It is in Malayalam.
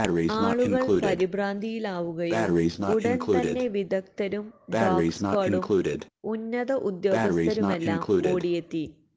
ആളുകള് പരിഭ്രാന്തിയിലാവുകയും ഉടന്തന്നെ വിദഗ്ദ്ധരും ഡോഗ് സ്ക്വാഡും ഉന്നത ഉദേ്യാഗസ്ഥരുമെല്ലാം ഓടിയെത്തി